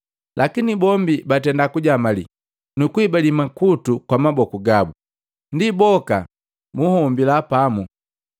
Lakini bombi batenda kujamali, nukuhibali makutu kwa maboku gabu, ndi boka bunhombila pamu.